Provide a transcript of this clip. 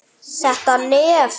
Þetta nef!